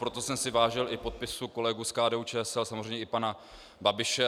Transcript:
Proto jsem si vážil i podpisů kolegů z KDU-ČSL, samozřejmě i pana Babiše.